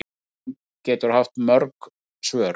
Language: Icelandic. Spurning getur haft mörg svör.